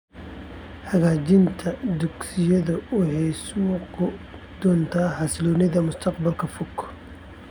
Hagaajinta dugsiyadu waxay sugi doontaa xasilloonida mustaqbalka fog .